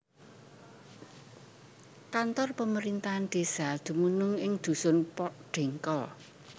Kantor pemerintahan desa dumunung ing dusun Pohdengkol